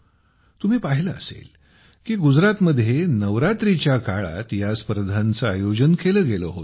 तुम्ही पाहिले असेल की गुजरातमध्ये नवरात्रीच्या काळात या स्पर्धांचे आयोजन केले गेले होते